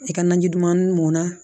I ka naji duman mɔnna